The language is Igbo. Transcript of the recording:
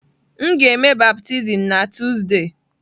M ga-eme baptizim na Tuzdee.